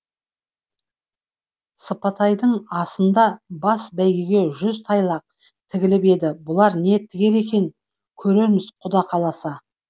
сыпатайдың асында бас бәйгеге жүз тайлақ тігіліп еді бұлар не тігер екен көреміз құда қаласа